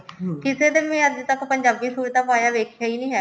ਕਿਸੇ ਦੇ ਨੀ ਮੈਂ ਅੱਜ ਤੱਕ ਪੰਜਾਬੀ suit ਪਾਇਆ ਵੇਖਿਆ ਨੀ ਹੈਗਾ